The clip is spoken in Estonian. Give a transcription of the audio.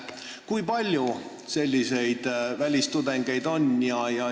Kui palju on selliseid välistudengeid?